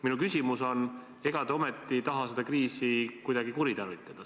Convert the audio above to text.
Minu küsimus on, et ega te ometi taha seda kriisi kuidagi kuritarvitada.